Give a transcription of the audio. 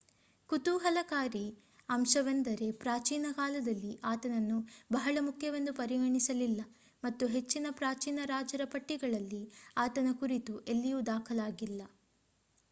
ಕುತೂಹಲಕಾರಿ ಅಂಶವೆಂದರೆ ಪ್ರಾಚೀನ ಕಾಲದಲ್ಲಿ ಆತನನ್ನು ಬಹಳ ಮುಖ್ಯವೆಂದು ಪರಿಗಣಿಸಲಿಲ್ಲ ಮತ್ತು ಹೆಚ್ಚಿನ ಪ್ರಾಚೀನ ರಾಜರ ಪಟ್ಟಿಗಳಲ್ಲಿ ಆತನ ಕುರಿತು ಎಲ್ಲಿಯೂ ದಾಖಲಾಗಿಲ್ಲ